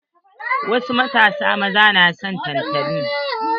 Wasu matasa maza na son tantali.